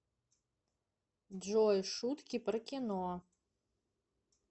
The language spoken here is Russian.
джой шутки про кино